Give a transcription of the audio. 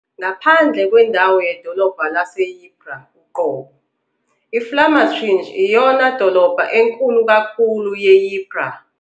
Ngaphandle kwendawo yedolobha laseYpres uqobo, i-Vlamertinge iyona dolobha enkulu kakhulu ye-Ypres.